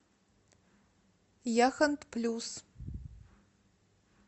яхонт плюс